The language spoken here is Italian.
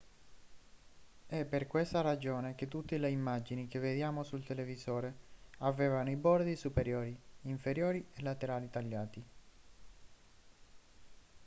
è per questa ragione che tutte le immagini che vediamo sul televisore avevano i bordi superiori inferiori e laterali tagliati